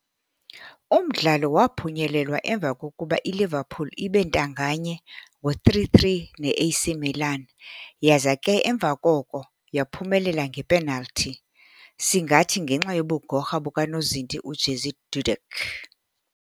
Umdlalo waphunyelelwa emva kokuba iLiverpool ibentanganye ngo-3-3 neA.C. Milan yaza ke emva koko yaphumelela nge"penal"thi, singathi ngenxa yobugorha bukanozinti u-Jerzy Dudek.